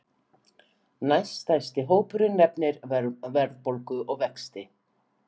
Næststærsti hópurinn nefnir verðbólgu og vexti